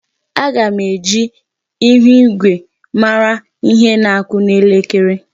Aga m eji ihuigwe mara ihe na-akụ n'elekere.